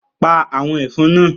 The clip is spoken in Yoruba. Pa àwọn ẹ̀fọn náà